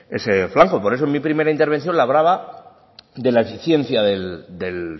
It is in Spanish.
ese flanco por eso en mi primera intervención le hablaba de la eficiencia del